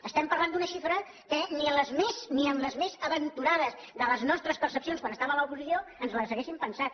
estem parlant d’una xifra que ni en les més aventurades de les nostres percepcions quan estàvem a l’oposició ens l’hauríem pensat